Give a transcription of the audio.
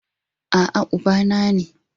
A'a, Ubana ne